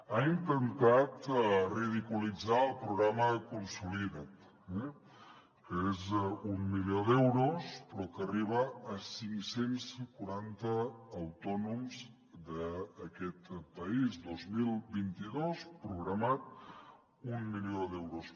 ha intentat ridiculitzar el programa consolida’t eh que és d’un milió d’euros però que arriba a cinc cents i quaranta autònoms d’aquest país dos mil vint dos programat un milió d’euros